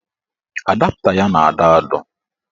Adapta ya na-adọ adọ